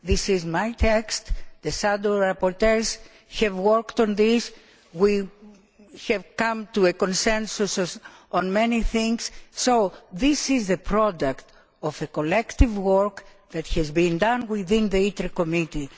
This is my text. The shadow rapporteurs have worked on this and we have come to a consensus on many things. This is the product of collective work that has been done within the ITRE Committee.